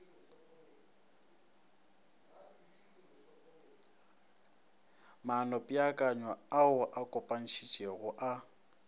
maanopeakanyo ao a kopanetšwego a